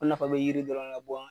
O nafa bɛ yiri dɔrɔn de